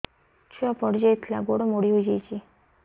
ଛୁଆ ପଡିଯାଇଥିଲା ଗୋଡ ମୋଡ଼ି ହୋଇଯାଇଛି